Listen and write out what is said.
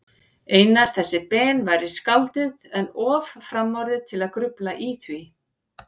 Einar þessi Ben væri skáldið, en of framorðið til að grufla í því.